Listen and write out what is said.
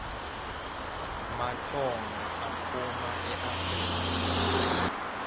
matsonga aphuma eafrika